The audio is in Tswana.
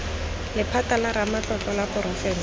lephata la ramatlotlo la porofense